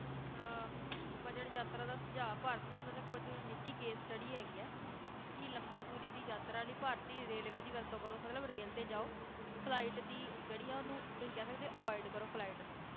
ਆਹ budget ਯਾਤਰਾ ਦਾ ਸੁਝਾਅ ਭਾਰਤ ਵਿਚ ਮਤਲਬ ਕੁਝ ਨਿੱਜੀ case study ਹੈਗੀ ਏ ਕਿ ਲੰਬੀ ਦੂਰੀ ਦੀ ਯਾਤਰਾ ਲਈ ਭਾਰਤੀ ਰੇਲਵੇ ਦੀ ਵਰਤੋਂ ਕਰੋ, ਮਤਲਬ ਰੇਲ ਤੇ ਜਾਓ flight ਦੀ ਜਿਹੜੀ ਆ ਓਹਨੂੰ ਤੁਸੀਂ ਕਹਿ ਸਕਦੇ avoid ਕਰੋ flight ਨੂੰ